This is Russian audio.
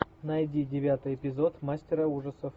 найди девятый эпизод мастера ужасов